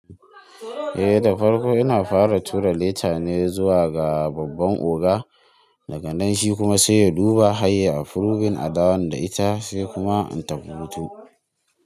Eh da farko ina fara tura leta ne zuwa ga babban oga, daga nan shi kuma sai ya duba harya yi afurubin adawon da ita sai kuma in tafi hutu.